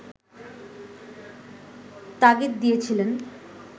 তাগিদ দিয়েছিলেন